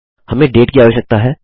हमें डेट की आवश्यकता है